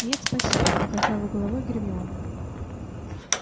нет спасибо покачала головой гермиона